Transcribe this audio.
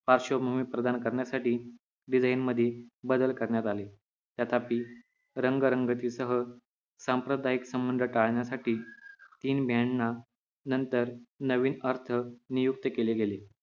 पार्श्वभूमी प्रदान करण्यासाठी desgin मध्ये बदल करण्यात आले तथापि रंगरंगती सह सांप्रदायिक संबंध टाळण्यासाठी तीन यांना नंतर नवीन अर्थ नियुक्त केले गेलेत